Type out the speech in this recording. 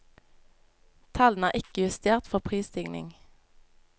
Tallene er ikke justert for prisstigning.